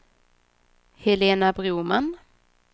Helena Broman